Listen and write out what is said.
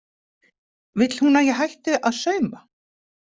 Vill hún að ég hætti að sauma?